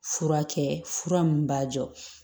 Fura kɛ fura min b'a jɔ